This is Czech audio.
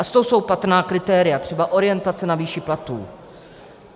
A z toho jsou patrná kritéria, třeba orientace na výši platů.